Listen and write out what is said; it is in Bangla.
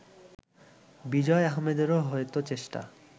বিজয় আহমেদেরও হয়তো চেষ্টা